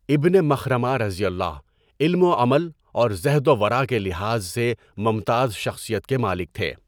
ابنِ مَخرَمہؓ علم و عمل اور زہد و ورع کے لحاظ سے ممتاز شخصیت کے مالک تھے۔